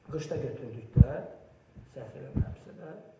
Qışda götürdük də, səhv eləmirəmsə də.